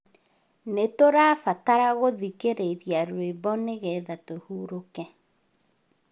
Nĩtũrabatara gũthĩkĩrĩria rwĩmbo nĩngethatũhurũke